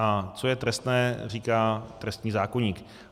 A co je trestné, říká trestní zákoník.